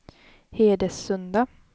Hedesunda